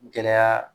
Gɛlɛya